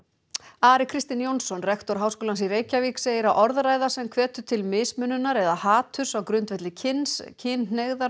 Ari Kristinn Jónsson rektor Háskólans í Reykjavík segir að orðræða sem hvetur til mismununar eða haturs á grundvelli kyns kynhneigðar